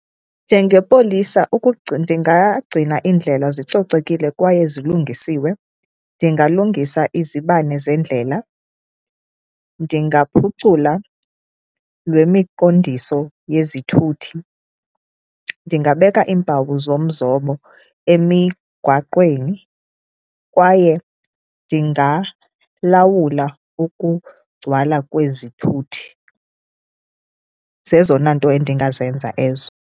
Njengepolisa ndingagcina iindlela zicocekile kwaye zilungisiwe, ndingalungisa izibane zendlela, ndingaphucula lwemiqondiso yezithuthi, ndingabeka iimpawu zomzobo emigwaqweni kwaye ndingalawula ukugcwala kwezithuthi. Zezona nto endingazenza ezo.